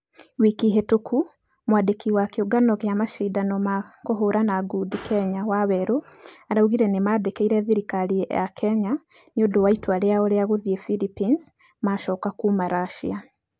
Wiki hĩtũku mwandĩki wa kĩũngano gĩa mashidano ma kũhũrana ngundi kenya waweru araugire nĩmandĩkĩire thirikarĩ ya kenya nĩũndũ wa itua rĩao rĩa gũthie Phillipines macoka kuuma russia.